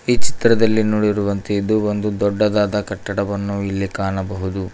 ಈ ಚಿತ್ರದಲ್ಲಿ ನೋಡಿರುವಂತೆ ಇದು ಒಂದು ದೊಡ್ಡದಾದ ಕಟ್ಟಡವನ್ನು ಇಲ್ಲಿ ಕಾಣಬಹುದು.